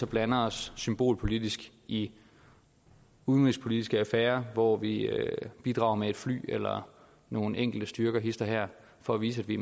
blande os symbolpolitisk i udenrigspolitiske affærer hvor vi bidrager med et fly eller nogle enkelte styrker hist og her for at vise at vi